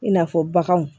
I n'a fɔ baganw